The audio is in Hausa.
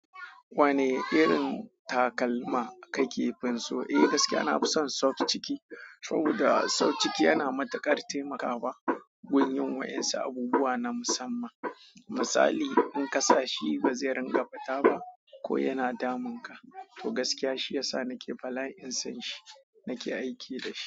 Wane irin takalma kake fin so? Eh gaskiya, na fi son soft ciki. Saboda soft ciki yana matuƙar taimakawa gun yin wayansu abubuwa na musamman. Misali, in ka sa shi ba zai ringa fita ba, ko yana damun ka. To gaskiya shi ya sa nake balain son shi, nake aiki da shi.